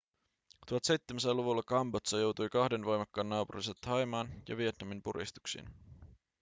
1700-luvulla kambodža joutui kahden voimakkaan naapurinsa thaimaan ja vietnamin puristuksiin